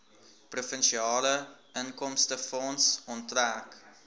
provinsiale inkomstefonds onttrek